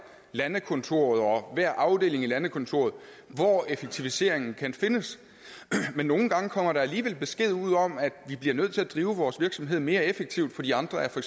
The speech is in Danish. landekontoret og hver afdeling i landekontoret hvor effektiviseringen kan findes men nogle gange kommer der alligevel besked ud om at vi bliver nødt til at drive vores virksomhed mere effektivt fordi andre for